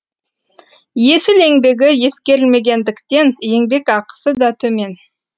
есіл еңбегі ескерілмегендіктен еңбекақысы да төмен